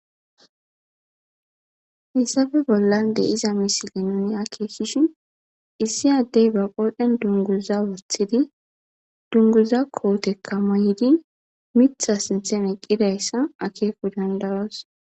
Hesappe bollan diza misile akekishin issi adde ba qoren dunguza wotidi dunguza koteka mayidi mitha sinthan eqizayisa akeko dandayos